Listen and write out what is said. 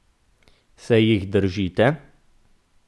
Se jih držite?